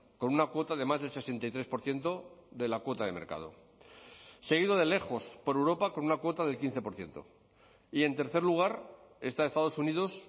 con una cuota de más de sesenta y tres por ciento de la cuota de mercado seguido de lejos por europa con una cuota del quince por ciento y en tercer lugar está estados unidos